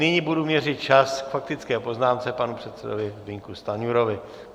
Nyní budu měřit čas k faktické poznámce panu předsedovi Zbyňku Stanjurovi.